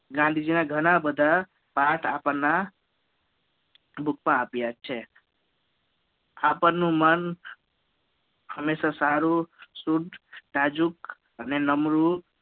ગાંધીજીના ઘણાબધા પાઠ આપણા Book માં આપ્યા છે આપણનું મન હંમેશા સારું સુધ્ધ નાજુક અને નમૃત